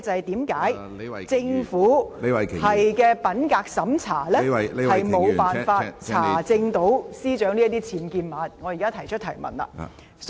第二，為何政府進行的品格審查無法查出司長寓所內有僭建物？